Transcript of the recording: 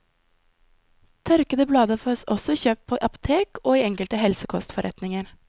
Tørkede blader fås også kjøpt på apotek og i enkelte helsekostforretninger.